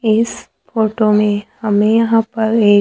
इस फोटो में हमें यहां पर एक--